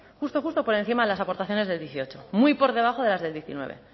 justo justo por encima de las aportaciones del dieciocho muy por debajo de las del diecinueve